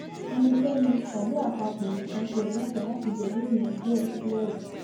ẹnikẹni tàbí àpapọ èèyàn kankan ò lẹtọọ láti gbẹmí èèyàn ẹgbẹ ẹ nílẹ yìí